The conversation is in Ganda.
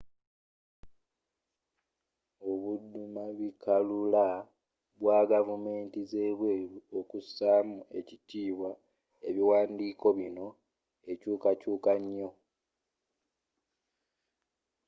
obuddumabikalula bwa gavumenti z'ebweru okusaamu ekitiibwa ebiwandiiko bino ekyukakyuka nyo